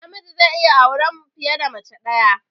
Namiji zai iya auren fiye da mace ɗaya